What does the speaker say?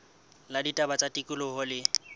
la ditaba tsa tikoloho le